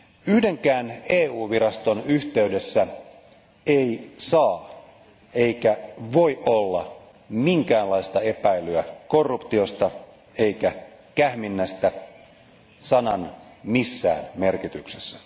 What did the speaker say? Yhdenkään EU viraston yhteydessä ei saa eikä voi olla minkäänlaista epäilyä korruptiosta eikä kähminnästä sanan missään merkityksessä.